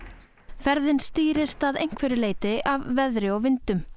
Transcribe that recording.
ferðin stýrist að einhverju leyti af veðri og vindum